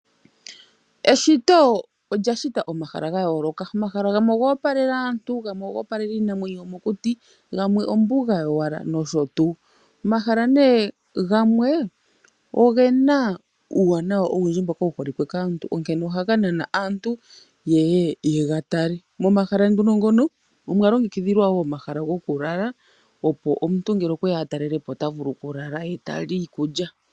Eshito olya shita omahala ga yooloka. Omahala gamwe ogo opalela aantu, gamwe ogo opalela iinamwenyo yomokuti, gamwe ombuga yowala nosho tuu. Omahala nee gamwe ogena uuwanawa owundji mboka wu holike kaantu onkene ohaga nana aantu yeye yega tale. Momahala nduno ngono omwa longekidhilwa wo omahala goku lala, opo omuntu ngele okwe ya a talele po ota vulu oku lala , ye tali iikulya.